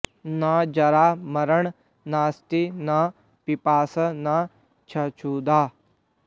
न जरा मरणं नास्ति न पिपासा न चक्षुधा